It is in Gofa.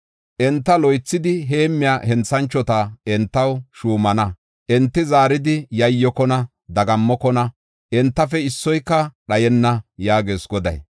Enta loythidi heemmiya henthanchota entaw shuumana. Enti zaaridi yayyokona; dagammokona; entafe issoyka dhayenna” yaagees Goday.